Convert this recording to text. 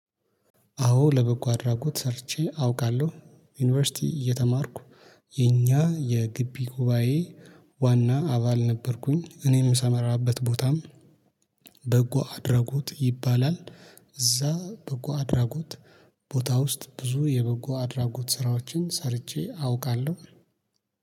አዎ ለበጎ አድራጎት ሰርቼ አውቃለሁ። ዩኒቨርሲቲ እየተማርኩ የኛ የግቢ ጉባኤ ዋና አባል ነበርኩኝ። እኔም ምሰማራበት ቦታም አዎ ለበጎ አድራጎት ሰርቼ አውቃለሁ። ዩኒቨርሲቲ እየተማርኩ የኛ የግቢ ጉባኤ ዋና አባል ነበርኩኝ። እኔም ምሰማራበት ቦታም